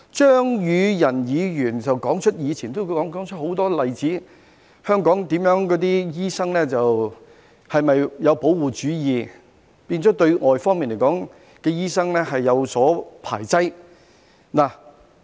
張宇人議員指出過往很多例子，香港的醫生是否有保護主義，變成排擠外來的醫生呢？